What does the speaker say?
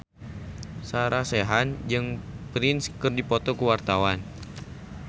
Sarah Sechan jeung Prince keur dipoto ku wartawan